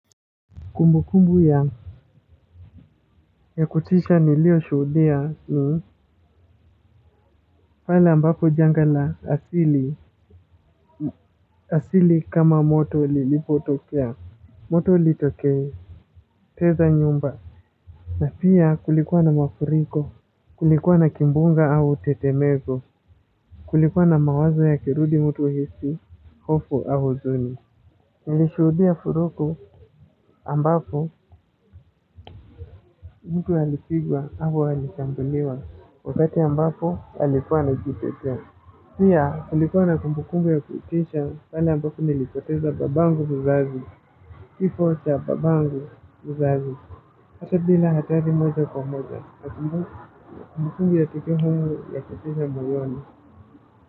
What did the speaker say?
Kumbukumbu ya kutisha nilioshuhudia ni pahali ambapo janga la asili kama moto lilipotokea moto ulitokea teketeza nyumba na pia kulikuwa na mafuriko kulikuwa na kimbunga au tetemezo kulikuwa na mawazo ya kirudi mtu hisi hofu au huzuni. Nilishudia furuku ambafu mtu alipigwa hako halikambaniwa wakati ambafu halifwana kipetua. Sia halifwana kumbukungu ya kuitisha kala ambafu nilipoteza babangu mzazi. Kifo cha babangu mzazi hata bila hatari moja kwa moja. Kumbukungu ya tiki humu ya kuitisha moyoni.